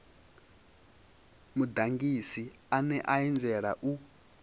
mudagasi ane a anzela u